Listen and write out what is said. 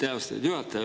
Aitäh, austatud juhataja!